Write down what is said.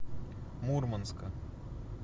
мурманска